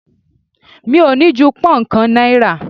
Mi ò ní ju pón kàn náírà.